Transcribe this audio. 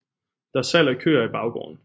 Der er salg af køer i baggården